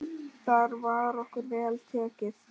Þar var okkur vel tekið.